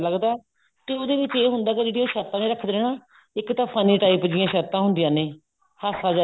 ਜਿਆਦਾ ਲੱਗਦਾ ਤੇ ਉਹਦੇ ਵਿੱਚ ਇਹ ਹੁੰਦਾ ਕੀ ਜਿਹੜੀ ਉਹ ਸ਼ਰਤਾਂ ਰੱਖਦਾ ਇੱਕ ਤਾਂ funny type ਜਿਹੀਆਂ ਸ਼ਰਤਾਂ ਹੁੰਦੀਆਂ ਨੇ ਹਾਸਾ ਜਾ